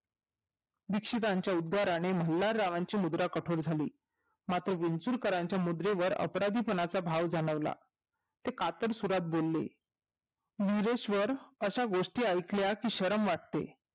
दीक्षितांच्या उदाराने मल्हारची मुंद्रा कपट झाली मात्र विचूळकराच्या मुद्रेवर अपराधी पणाचा भाव जाणवला ते कातडं सुरत बोलले मुरेश्वर अशा गोष्टी ऐकल्या कि शरम वाटते